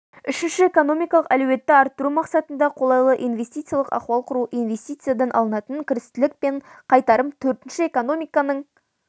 үшінші экономикалық әлеуетті арттыру мақсатында қолайлы инвестициялық ахуал құру инвестициядан алынатын кірістілік пен қайтарым төртінші экономиканың